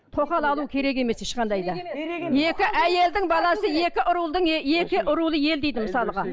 тоқал алу керек емес ешқандай да екі әйелдің баласы екі рудың екі рулы ел дейді мысалға